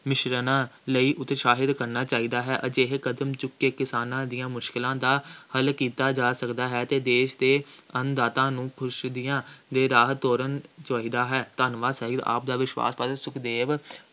ਮਿਸ਼ਰਣਾਂ ਲਈ ਉਤਸ਼ਾਹਿਤ ਕਰਨਾ ਚਾਹੀਦਾ ਹੇ। ਅਜਿਹੇ ਕਦਮ ਚੁੱਕ ਕੇ ਕਿਸਾਨਾਂ ਦੀਆਂ ਮੁਸ਼ਕਿਲਾਂ ਦਾ ਹੱਲ ਕੀਤਾ ਜਾ ਸਕਦਾ ਹੈ ਅਤੇ ਦੇਸ਼ ਦੇ ਅੰਨ-ਦਾਤਾ ਨੂੰ ਖੁਸ਼ੀ ਦੀਆ ਦੇ ਰਾਹ ਤੁਰਨ, ਚਾਹੀਦਾ ਹੈ, ਧੰਨਵਾਦ ਸਾਹਿਤ, ਆਪ ਦਾ ਵਿਸ਼ਵਾਸ ਪਾਤਰ, ਸੁਖਦੇਵ,